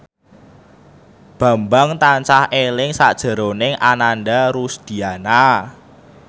Bambang tansah eling sakjroning Ananda Rusdiana